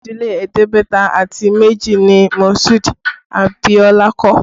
Ojúlé ẹ̀ẹ́dẹ́gbẹ̀ta àti méjì ni Masudi Abiola kọ́